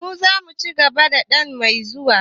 mu zamu ci zaben nan mai zuwa.